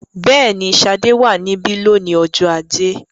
Bẹ́ẹ̀ni, Ṣadé wà níbí lónìí ọjọ́ ajé.